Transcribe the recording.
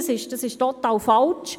Dies ist total falsch.